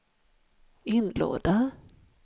inlåda